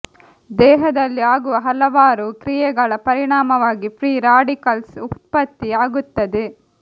ದೇಹದಲ್ಲಿ ಆಗುವ ಹಲವಾರು ಕ್ರಿಯೆಗಳ ಪರಿಣಾಮವಾಗಿ ಫ್ರೀ ರಾಡಿಕಲ್ಸ್ ಉತ್ಪತ್ತಿ ಆಗುತ್ತದೆ